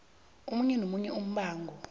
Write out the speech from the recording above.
omunye nomunye umbango